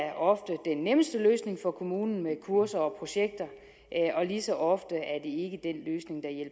er ofte den nemmeste løsning for kommunen med kurser og projekter og lige så ofte